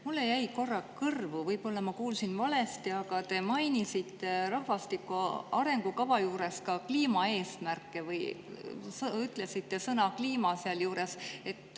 Mulle jäi korraks kõrvu – võib-olla ma kuulsin valesti –, et te mainisite rahvastiku arengukava juures ka kliimaeesmärke või ütlesite sõna "kliima" selle juures.